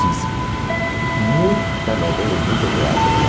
Fiz muita novela e muito teatro lá.